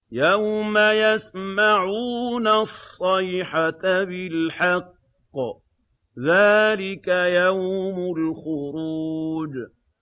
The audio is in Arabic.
يَوْمَ يَسْمَعُونَ الصَّيْحَةَ بِالْحَقِّ ۚ ذَٰلِكَ يَوْمُ الْخُرُوجِ